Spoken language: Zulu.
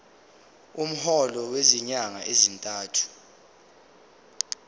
umholo wezinyanga ezintathu